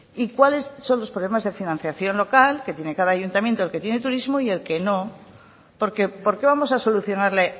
y cuáles son los problemas de financiación local que tiene cada ayuntamiento el que tiene turismo y el que no porque por qué vamos a solucionarle